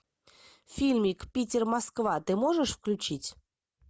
фильмик питер москва ты можешь включить